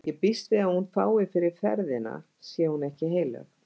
Ég býst við hún fái fyrir ferðina sé hún ekki heilög.